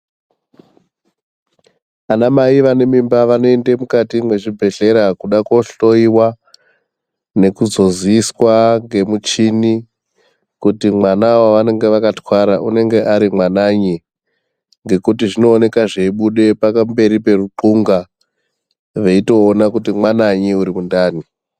Ana mai vane mimba vanoende mukati mwezvibhedhlera kuda kohloyiwa nekuzoziiswa ngemishini kuti mwana wavanenge vakatwara unenge uri mwananyi ngokuti zvinooneka zveibude pakamberi poruqhonga veitoona kuti mwananyi uri mundani.